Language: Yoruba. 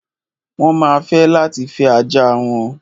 Wọ́n ma fẹ́ láti fẹ́ ajá wọn.